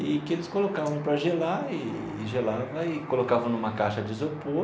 E que eles colocavam para gelar eee e gelava, e colocavam numa caixa de isopor,